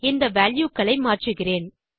இந்த வால்யூ களை மாற்றுகிறேன்